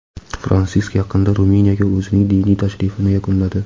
Fransisk yaqinda Ruminiyaga o‘zining diniy tashrifini yakunladi.